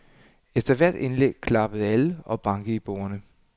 Efter hvert indlæg klappede alle og bankede i bordene.